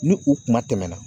Ni u kuma tɛmɛna